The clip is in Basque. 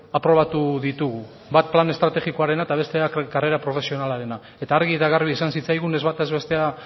aprobatu ditugu bat plan estrategikoarena eta bestea karrera profesionalarena eta argi eta garbi esan zitzaigun ez bata ez bestea